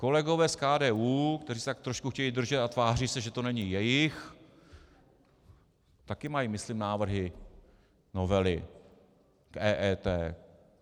Kolegové z KDU, kteří se tak trošku chtějí držet a tváří se, že to není jejich, také mají myslím návrhy novely k EET.